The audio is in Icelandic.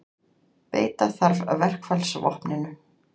Beita þarf verkfallsvopninu